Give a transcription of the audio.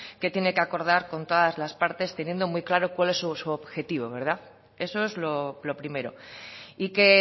que tiene que acordar con todas las partes teniendo muy claro cuál es su objetivo eso es lo primero y que